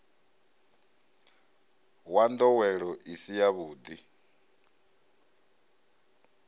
wa ndowelo i si yavhudi